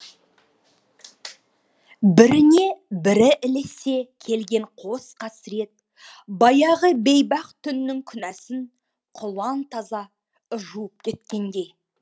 біріне бірі ілесе келген қос қасірет баяғы бейбақ түннің күнәсін құлан таза жуып кеткендей